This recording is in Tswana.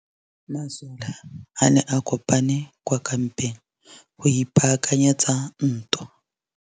Masole a ne a kopane kwa kampeng go ipaakanyetsa ntwa.